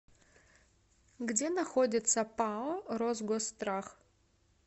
где находится пао росгосстрах